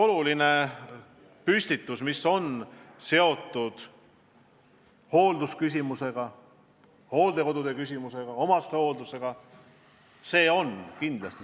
Loomulikult on see oluline teemapüstitus – hooldekodude ja omastehoolduse probleemid on suured.